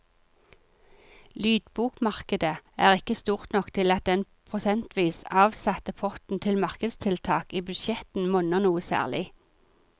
Lydbokmarkedet er ikke stort nok til at den prosentvis avsatte potten til markedstiltak i budsjettene monner noe særlig.